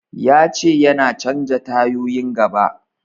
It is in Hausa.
Ya ce yana canja tayoyin gaba.